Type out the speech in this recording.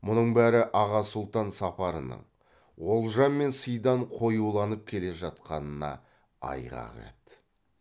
мұның бәрі аға сұлтан сапарының олжа мен сыйдан қоюланып келе жатқанына айғақ еді